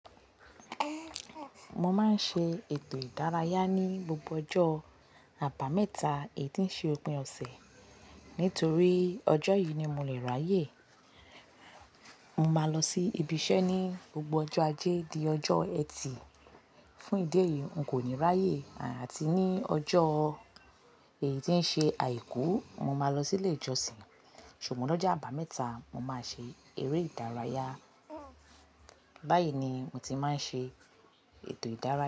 Mo máa ń ṣe ètò ìdárayá ní gbogbo ọjọ́ àbámẹ́ta èyí tí ń ṣe òpin ọ̀sẹ̀. Nítorí ọjọ́ yìí ni mo lè ráyè. Mo máa lọ sí ibi iṣẹ́ ní gbogbo ọjọ́ ajé di ọjọ́ ẹtì. Fún ìdí èyí, n kò ní ráyè àti ní ọjọ́ èyí tí ń ṣe àìkú, mo máa lọ sí ilé ìjọsìn. Ṣùgbọ́n lọ́jọ́ àbámẹ́ta, mo máa ṣe eré ìdárayá. Báyìí ni mo ti máa ń ṣe ètò ìdárayá.